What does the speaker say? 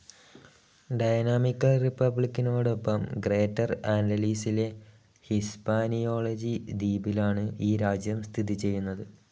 Dynamical റിപ്പബ്ലിക്കിനോടൊപ്പം greater ആൻ്റിലസിലെ ഹിസ്പാനിയോള ദീപിലാണ് ഈ രാജ്യം സ്ഥിതി ചെയ്യുന്നത്.